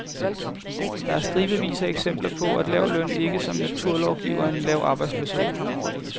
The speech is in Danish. Der er stribevis af eksempler på, at lav løn ikke som en naturlov giver en lav arbejdsløshed.